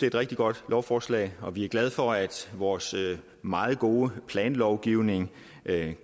et rigtig godt lovforslag og vi er glade for at vores meget gode planlovgivning